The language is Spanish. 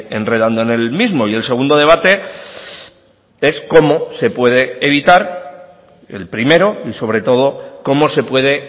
enredando en el mismo y el segundo debate es cómo se puede evitar el primero y sobre todo cómo se puede